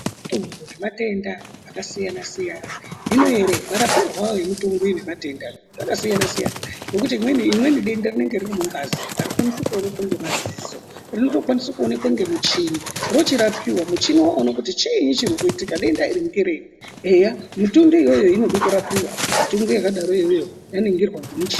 Mutungu nematenda akasiyana-siyana hino ere marapirwo awo yemutungu nematenda zvakasiyana-siyana ngekuti rimweni denda rinenge riri mungazi ari kwanisi kuonekwa ngemadziso rinotomwabisa kuonekwa ngemichini rochirapiwa muchini wochiona kuti chiini chiri kuitika denda iri ngerei eya mutungu iyoyo inoda kurapiwa yaningirwa ngemichini.